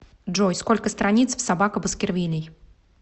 джой сколько страниц в собака баскервилей